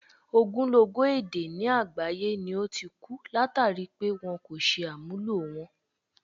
Ogúnlọ́gọ̀ èdè ni àgbáyé ni ó ti ku, látàri pé wọn kò ṣe àmúlò wọn.